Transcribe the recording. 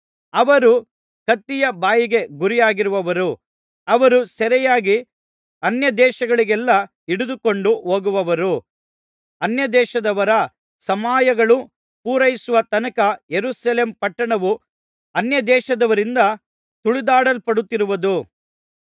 ಅವರು ಕತ್ತಿಯ ಬಾಯಿಗೆ ಗುರಿಯಾಗುವರು ಅವರು ಸೆರೆಯಾಗಿ ಅನ್ಯದೇಶಗಳಿಗೆಲ್ಲಾ ಹಿಡಿದುಕೊಂಡು ಹೋಗುವರು ಅನ್ಯದೇಶದವರ ಸಮಯಗಳು ಪೂರೈಸುವ ತನಕ ಯೆರೂಸಲೇಮ್ ಪಟ್ಟಣವು ಅನ್ಯದೇಶದವರಿಂದ ತುಳಿದಾಡಲ್ಪಡುತ್ತಿರುವುದು